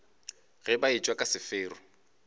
ge ba etšwa ka sefero